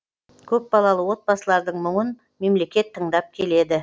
көпбалалы отбасылардың мұңын мемлекет тыңдап келеді